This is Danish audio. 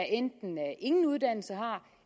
enten ingen uddannelse har